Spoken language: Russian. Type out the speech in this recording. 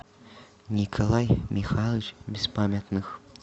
николай михайлович беспамятных